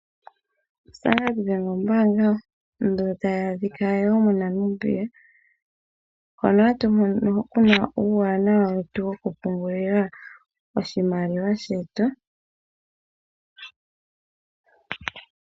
Standard bank, ombaanga ndjo ta yi adhika woo moNamibia hono ha tumono kuna uuwanawa wetu wo kupungulila oshimaliwa shetu.